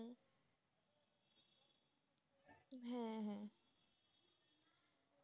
হ্যাঁ হ্যাঁ,